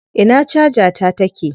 Ina caja ta take?